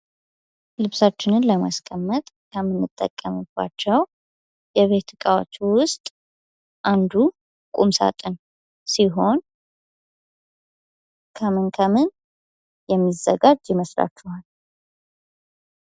ልብሳችን ለማስቀመጥ ከምንጠቀምባቸው የቤት እቃዎች ውስጥ አንዱ ቁም ሳጥን ሲሆን ከምን ከምን የሚዘጋጅ ይመስላችኋል?